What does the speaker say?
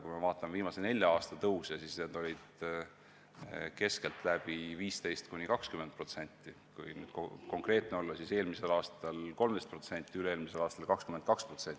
Kui me vaatame viimase nelja aasta tõuse, siis need olid keskeltläbi 15–20%, kui konkreetne olla, siis eelmisel aastal 13%, üle-eelmisel aastal 22%.